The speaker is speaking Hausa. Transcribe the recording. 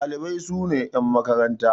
Ɗalibai sune yan makaranta.